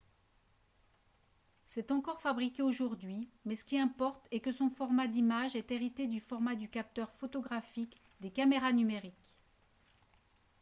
c'est encore fabriqué aujourd'hui mais ce qui importe est que son format d'image est hérité du format du capteur photographique des caméras numériques